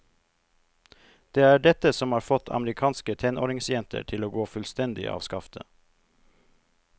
Det er dette som har fått amerikanske tenåringsjenter til å gå fullstendig av skaftet.